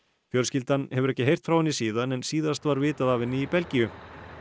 fjölskyldan hefur ekki heyrt frá henni síðan en síðast var vitað af henni í Belgíu